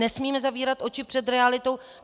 Nesmíme zavírat oči před realitou.